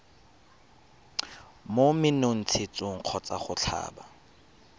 mo menontshetsong kgotsa go tlhaba